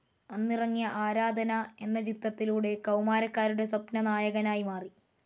അന്നിറങ്ങിയ ആരാധന എന്ന ചിത്രത്തിലൂടെ കൗമാരക്കാരുടെ സ്വപ്നനായകനായി മാറി.